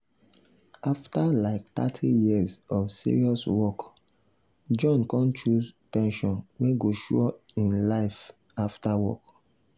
after like thirty years of serious work john con choose pension wey go sure him life after work.